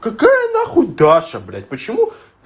какая нахуй даша блять почему